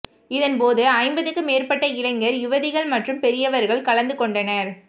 இதன்போது ஐம்பதுக்கு மேற்பட்ட இளைஞர் யுவதிகள் மற்றும் பெரியவர்கள் கலந்து கொண்டனர்